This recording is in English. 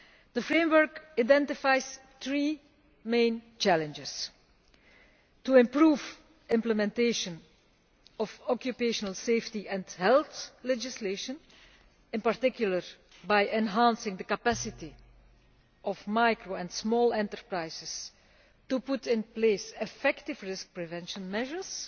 The framework identifies three main challenges to improve implementation of occupational health and safety legislation, in particular by enhancing the capacity of small and micro enterprises to put in place effective risk preventive measures